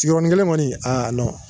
Sigiyɔrɔninkelen kɔni a